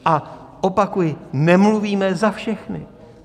A opakuji, nemluvíme za všechny.